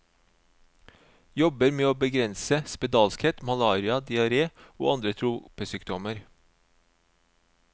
Jobber med å begrense spedalskhet, malaria, diaré og andre tropesykdommer.